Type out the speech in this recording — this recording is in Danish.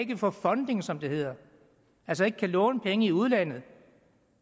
kan få funding som det hedder altså ikke kan låne penge i udlandet